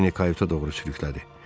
Harvini kayuta doğru sürüklədi.